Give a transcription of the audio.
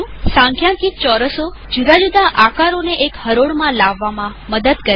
સંખ્યાંકિત ચોરસો જુદા જુદા આકારોને એક હરોળમાં લાવવામાં મદદ કરે છે